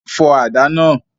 Fọ àdá náà!